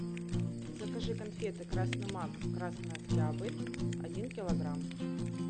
закажи конфеты красный мак красный октябрь один килограмм